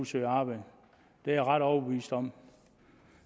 søge arbejde det er jeg ret overbevist om